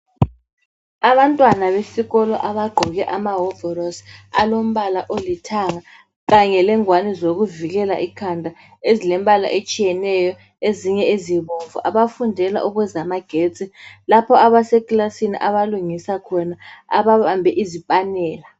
Abantwana besikolo abagqoke amahovorosi alombala olithanga kanye lengwane zokuvikela ikhanda ezilembala etshiyeneyo ezinye ezibomvu, abafundela ukwezamagetsi, lapho abesekilasini abafundela khona ababambe izipanela.